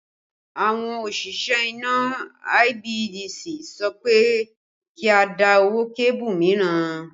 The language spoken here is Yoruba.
Àwọn òṣìṣẹ́ iná IBEDC sọ pé kí a dá owó kébù mìíràn